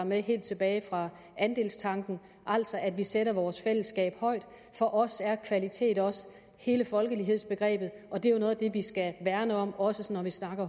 med helt tilbage fra andelstanken altså at vi sætter vores fællesskab højt for os er kvalitet også hele folkelighedhedsbegrebet og det er jo noget af det vi skal værne om også når vi snakker